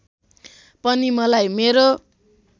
पनि मलाई मेरो